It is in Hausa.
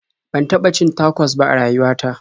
Ban taɓa cin tacos ba a rayuwa ta.